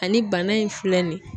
Ani bana in filɛ nin ye